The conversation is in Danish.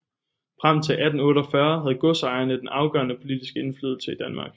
Frem til 1848 havde godsejerne den afgørende politiske indflydelse i Danmark